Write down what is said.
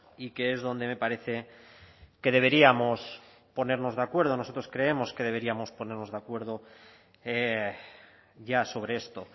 y que es donde me parece que deberíamos ponernos de acuerdo nosotros creemos que deberíamos ponernos de acuerdo ya sobre esto